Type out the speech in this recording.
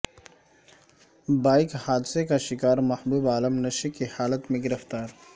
bike حادثے کا شکار محبوب عالم نشے کی حالت میں گرفتار